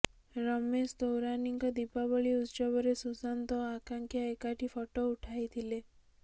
ରମେଶ ତୌରାନୀଙ୍କ ଦୀପାବଳୀ ଉତ୍ସବରେ ସୁଶାନ୍ତ ଓ ଆକାଂକ୍ଷା ଏକାଠି ଫଟୋ ଉଠାଇଥିଲେ